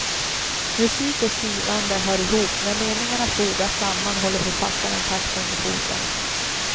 Musik och skrivande hör ihop, när meningarna fogas samman håller författaren takten med foten.